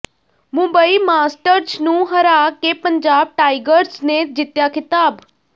Mumbai Masters ਨੂੰ ਹਰਾ ਕੇ ਪੰਜਾਬ ਟਾਈਗਰਜ਼ ਨੇ ਜਿੱਤਿਆ ਖ਼ਿਤਾਬ